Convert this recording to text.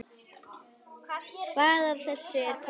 Hvað af þessu er komið?